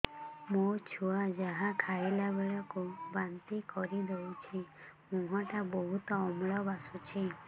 ମୋ ଛୁଆ ଯାହା ଖାଇଲା ବେଳକୁ ବାନ୍ତି କରିଦଉଛି ମୁହଁ ଟା ବହୁତ ଅମ୍ଳ ବାସୁଛି